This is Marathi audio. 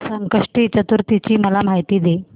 संकष्टी चतुर्थी ची मला माहिती दे